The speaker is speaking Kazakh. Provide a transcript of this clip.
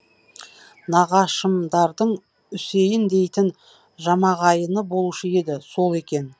нағашымдардың үсейін дейтін жамағайыны болушы еді сол екен